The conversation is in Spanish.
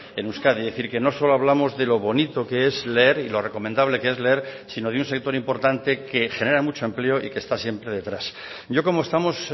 en euskadi es decir que no solo hablamos de lo bonito que es leer y lo recomendable que es leer sino de un sector importante que genera mucho empleo y que está siempre detrás yo como estamos